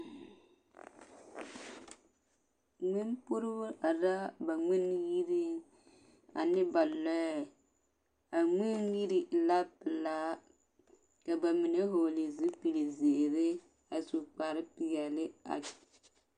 Ngmen puorribo are la ba ngmen yiriŋ ane ba lɔɛ a ngmen yiri e la pelaa ka ba mine hɔɔle zipilzeere a su kparepeɛle a.